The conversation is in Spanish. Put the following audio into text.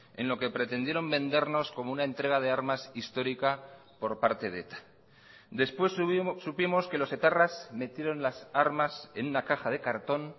en lo que pretendieron vendernos como una entrega de armas histórica por parte de eta después supimos que los etarras metieron las armas en una caja de cartón